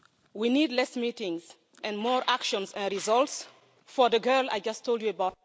We need less meetings and more actions and results for the girl I just told you about.